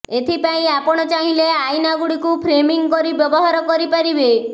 ଏଥିପାଇଁ ଆପଣ ଚାହିଁଲେ ଆଇନାଗୁଡିକୁ ଫ୍ରେମିଂ କରି ବ୍ୟବହାର କରିପାରିବେ